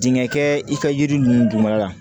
Dingɛ kɛ i ka yiri ninnu dunyɔrɔ la